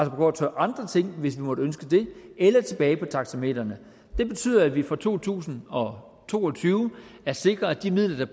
gå til andre ting hvis vi måtte ønske det eller tilbage til taxametrene det betyder at vi for to tusind og to og tyve har sikret at midlerne